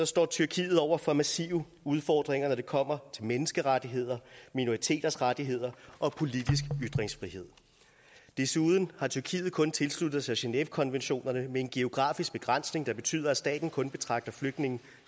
står tyrkiet over for massive udfordringer når det kommer til menneskerettigheder minoriteters rettigheder og politisk ytringsfrihed desuden har tyrkiet kun tilsluttet sig genèvekonventionerne med en geografisk begrænsning der betyder at staten kun betragter flygtninge